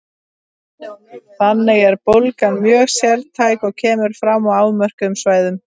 Þannig er bólgan mjög sértæk og kemur fram á afmörkuðum svæðum.